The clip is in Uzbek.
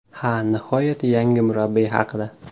Ha, nihoyat yangi murabbiy haqida.